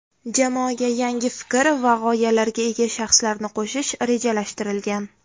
Jamoaga yangi fikr va g‘oyalarga ega shaxslarni qo‘shish rejalashtirilgan.